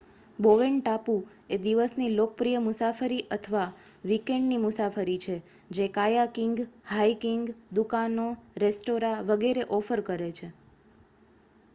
Bowen ટાપુ એ દિવસની લોકપ્રિય મુસાફરી અથવા વીકેન્ડ ની મુસાફરી છે જે કાયાકિંગ હાઇકિંગ દુકાનો રેસ્ટોરાં વગેરે ઓફર કરે છે